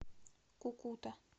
кукута